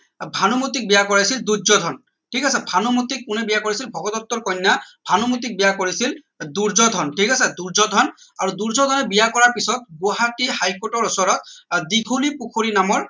ভানুমতিক বিয়া কৰাইছিল দুৰ্যোধন ঠিক আছে ভানুমতিক কোনে বিয়া কৰাইছিল ভগদত্তৰ কন্যা ভানুমতিক বিয়া কৰাইছিল দুৰ্যোধন ঠিক আছে দুৰ্যোধন আৰু দুৰ্যোধনে বিয়া কৰোৱাৰ পিছত গুৱাহটিৰ high court ৰ ওচৰত আহ দীঘলী পুখুৰী নামৰ